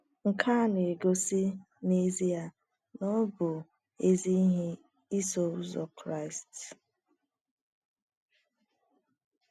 Nke a na - egosi n’ezie na ọ bụ ezi ihe ịsọ Ụzọ Kraịst. ”